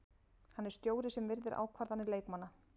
Hann er stjóri sem virðir ákvarðanir leikmanna.